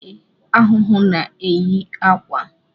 Ee, ahụhụ na-eyi akwa